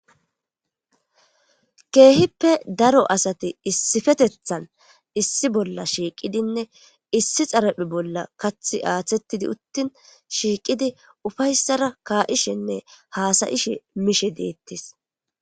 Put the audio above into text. keehippe daro asati issifetethan issi bolla shiiqidinne issi xaraphe bolla kathi aaththettidi uttin shiiqidi ufayssara kaa7ishenne haasayishe mishe deettis